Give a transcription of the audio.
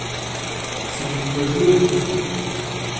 svingforbud